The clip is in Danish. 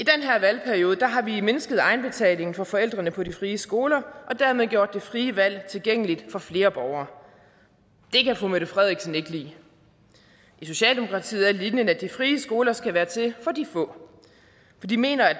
valgperiode har vi mindsket egenbetalingen for forældrene på de frie skoler og dermed gjort det frie valg tilgængeligt for flere borgere det kan fru mette frederiksen ikke lide i socialdemokratiet er linjen at de frie skoler skal være til for de få for de mener at